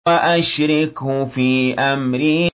وَأَشْرِكْهُ فِي أَمْرِي